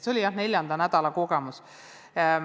See oli, jah, neljanda nädala kogemus.